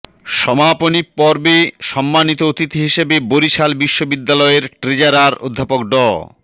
সমাপনী পর্বে সম্মানিত অতিথি হিসেবে বরিশাল বিশ্ববিদ্যালয়ের ট্রেজারার অধ্যাপক ড